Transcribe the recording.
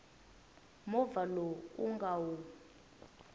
movha lowu u nga wu